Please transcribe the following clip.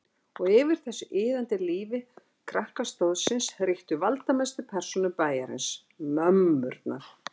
Og yfir þessu iðandi lífi krakkastóðsins ríktu valdamestu persónur bæjarins: MÖMMURNAR.